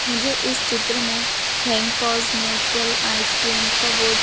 मुझे इस चित्र में थैंक नेचुरल आइसक्रीम का बोर्ड --